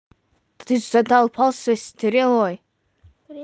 ты задолбал со стрелой